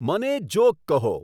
મને જોક કહો